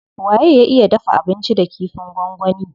Waye ya iya dafa abinci da kifin gwangwani.